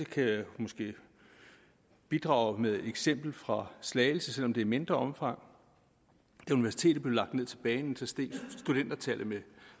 kan jeg måske bidrage med et eksempel fra slagelse selv om det er i mindre omfang da universitetet blev lagt ned til banen steg studenterantallet med